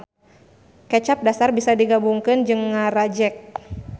Kecap dasar bisa digabungkeun jeung ngarajek